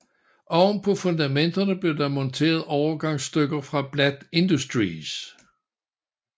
Oven på fundamenterne blev der monteret overgangsstykker fra Bladt Industries